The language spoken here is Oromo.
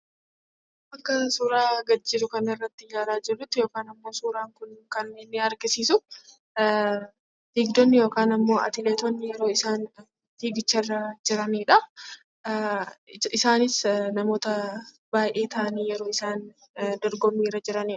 Akka suuraa kanaa gadi jiru irratti ilaalaa jirrutti suuraan kun kan inni agarsiisu fiigdonni yookiin atileetonni isaan fiigicharra yeroo jiranidha. Isaanis namoota baay'ee ta'anii yeroo isaan dorgommiirra jiranidha.